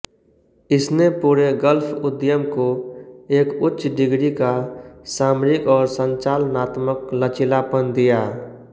इसने पूरे गल्फ उद्यम को एक उच्च डिग्री का सामरिक और संचालनात्मक लचीलापन दिया